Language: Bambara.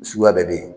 Suguya bɛɛ bɛ yen